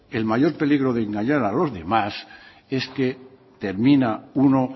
el mayor peligro de engañar a los demás es que termina uno